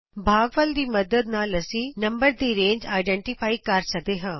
ਭਾਗਫਲ ਦੀ ਮੱਦਦ ਨਾਲ ਅਸੀਂ ਨੰਬਰ ਦੀ ਰੇਂਜ ਆਈਡੈਂਟੀਫਾਈ ਕਰ ਸਕਦੇ ਹਨ